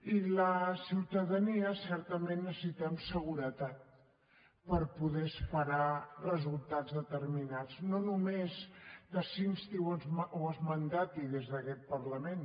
i la ciutadania certament necessitem seguretat per poder esperar resultats determinats no només que s’instin o es mandatin des d’aquest parlament